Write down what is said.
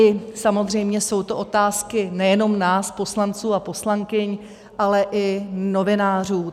I samozřejmě jsou to otázky nejenom nás poslanců a poslankyň, ale i novinářů.